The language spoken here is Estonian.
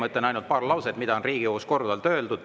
Ma ütlen ainult paar lauset, mida on Riigikogus korduvalt öeldud.